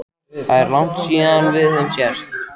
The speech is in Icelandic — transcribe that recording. Það er langt síðan við höfum sést